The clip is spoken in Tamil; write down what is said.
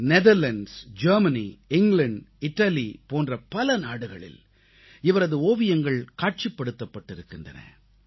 நெதர்லாந்து ஜெர்மனி இங்கிலாந்து இத்தாலி போன்ற பல நாடுகளில் இவரது ஓவியங்கள் காட்சிப்படுத்தப்பட்டிருக்கின்றன